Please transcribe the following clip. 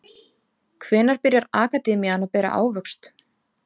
Hvenær byrjar akademían að bera ávöxt?